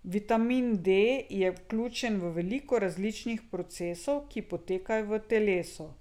Vitamin D je vključen v veliko različnih procesov, ki potekajo v telesu.